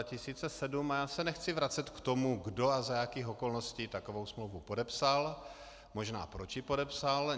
A já se nechci vracet k tomu, kdo a za jakých okolností takovou smlouvu podepsal, možná proč ji podepsal.